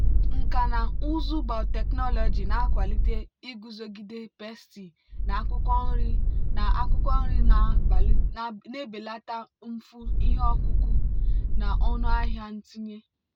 nkà na ụzụ biotechnology na-akwalite iguzogide pesti na akwụkwọ nri na akwụkwọ nri na-ebelata mfu ihe ọkụkụ na ọnụ ahịa ntinye.